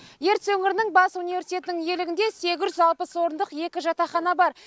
ертіс өңірінің бас университетінің иелігінде сегіз жүз алпыс орындық екі жатақхана бар